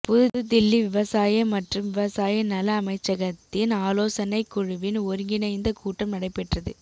புது தில்லி விவசாய மற்றும் விவசாய நல அமைச்சகத்தின் ஆலோசனைக் குழுவின் ஒருங்கிணைந்த கூட்டம் நடைபெற்றது